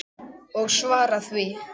Og svara því.